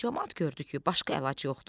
Camaat gördü ki, başqa əlac yoxdur.